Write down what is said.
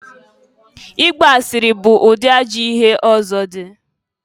I gba asịrị bụ ụdị ajọ ihe ọzọ dị.